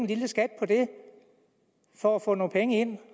lille skat på det for at få nogle penge ind